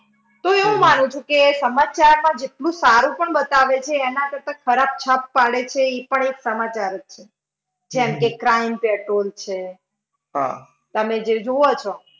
તો હું એવું માનું છું કે સમાચારમાં જેટલું સારું પણ બતાવે છે એના કરતા ખરાબ છાપ પાડે છે ઈ પણ એક સમાચાર જ છે. જેમ કે crime petrol છે. તમે જે જુઓ છો.